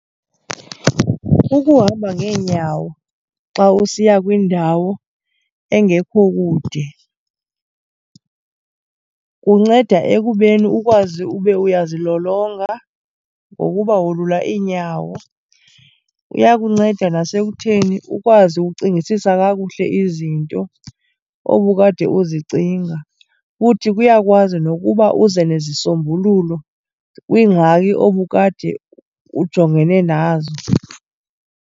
Ukuhamba ngeenyawo xa usiya kwindawo engekho kude kunceda ekubeni ukwazi ube uyazilolonga ngokuba wolula iinyawo. Kuyakunceda nasekutheni ukwazi ucingisisa kakuhle izinto obukade uzicinga, futhi kuyakwazi nokuba uze nezisombululo kwiingxaki obukade ujongene nazo.